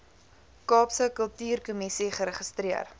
kaapse kultuurkommissie geregistreer